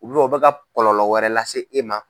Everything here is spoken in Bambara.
o bɛ ka kɔlɔlɔ wɛrɛ lase e ma.